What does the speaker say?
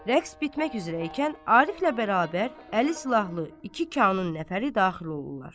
Rəqs bitmək üzrə ikən Ariflə bərabər 50 silahlı iki kanun nəfəri daxil olurlar.